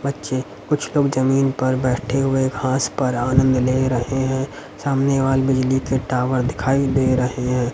बच्चे कुछ लोग जमीन पर बैठे हुए घास पर आनंद ले रहे हैं सामने वाल बिजली के टावर दिखाई दे रहे हैं।